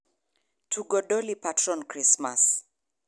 tugo doli parton Krismas